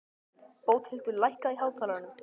Bóthildur, lækkaðu í hátalaranum.